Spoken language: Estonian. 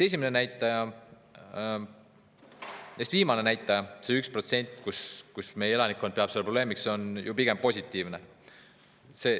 Viimane näitaja, et 1% meie elanikkonnast peab seda probleemiks, on pigem positiivne.